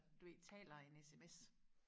du ved taler en SMS